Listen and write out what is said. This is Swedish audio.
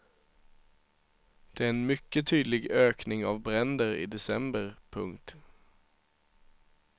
Det är en mycket tydlig ökning av bränder i december. punkt